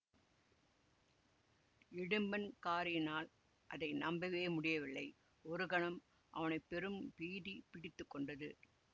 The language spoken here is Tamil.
இடும்பன்காரியினால் அதை நம்பவே முடியவில்லை ஒரு கணம் அவனை பெரும் பீதி பிடித்து கொண்டது